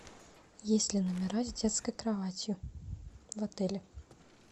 есть ли номера с детской кроватью в отеле